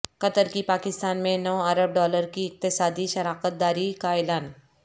قطر کی پاکستان میں نو ارب ڈالر کی اقتصادی شراکت داری کا اعلان